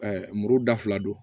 muru da fila don